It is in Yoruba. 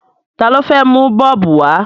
Ta ló fẹ́ mu bọ́ọ̀bù wá?